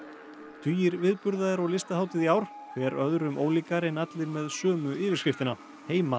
tugir viðburða eru á Listahátíð í ár hver öðrum ólíkari en allir með sömu yfirskriftina heima